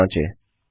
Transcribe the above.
चलिए जाँचें